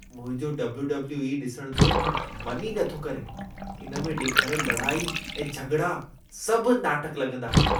मुंहिंजो W W E ॾिसणु जो मन ई नथो करे। इन में ॾेखारियल लड़ाई ऐं झॻिड़ा सभु नाटक लगं॒दा आहिनि।